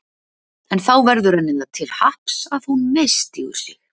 En þá verður henni það til happs að hún misstígur sig.